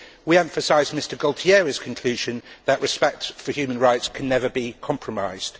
We emphasise Mr Gualtieri's conclusion that respect for human rights can never be compromised.